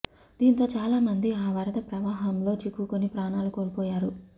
దీంతో చాలా మంది ఆ వరద ప్రవాహంలో చిక్కుకొని ప్రాణాలు కోల్పోయారు